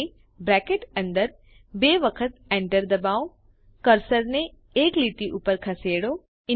હવે બ્રેકેટ અંદર બે વખત એન્ટર ડબાઓ કર્સરને એક લીટી ઉપર ખસેડો